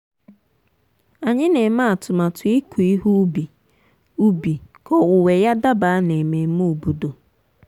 m na-egbutu osisi ji nke ọma tupu owuwe iji zere mmerụ ahụ.